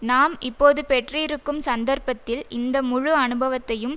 நாம் இப்போது பெற்றிருக்கும் சந்தர்ப்பத்தில் இந்த முழு அனுபவத்தையும்